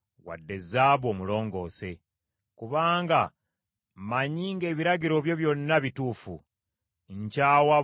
Kubanga mmanyi ng’ebiragiro byo byonna bituufu; nkyawa buli kkubo lyonna ekyamu.